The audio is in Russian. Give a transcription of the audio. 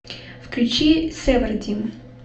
включи севардим